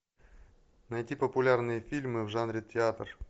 найти популярные фильмы в жанре театр